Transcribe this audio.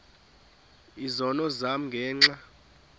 izono zam ngenxa